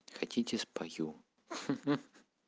хотите спою ха-ха